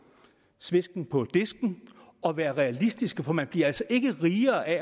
svesken på disken og være realistiske for man bliver altså ikke rigere af